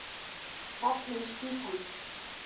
Fallin spýtan!